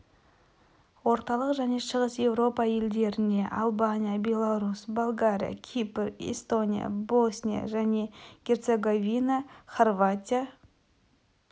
орталық және шығыс еуропа елдеріне албания беларусь болгария кипр эстония босния және герцеговина хорватия